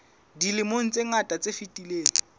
dilemong tse ngata tse fetileng